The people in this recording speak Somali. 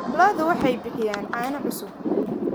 Lo'du waxay bixiyaan caano cusub.